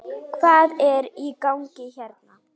Hvað er í gangi hérna?